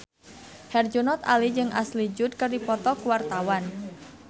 Herjunot Ali jeung Ashley Judd keur dipoto ku wartawan